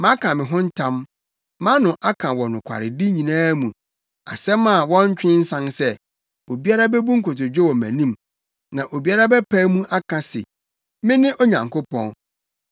Maka me ho ntam, mʼano aka wɔ nokwaredi nyinaa mu asɛm a wɔntwe nsan sɛ: obiara bebu nkotodwe wɔ mʼanim. Na obiara bɛpae mu aka se, mene Onyankopɔn.